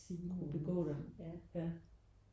Kunne begå dig ja